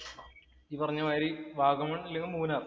ഈ പറഞ്ഞ മാത്രി വാഗമണ്‍ അല്ലെങ്കില്‍ മൂന്നാര്‍